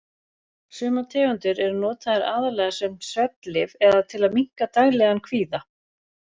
Sumar tegundir eru notaðar aðallega sem svefnlyf eða til að minnka daglegan kvíða.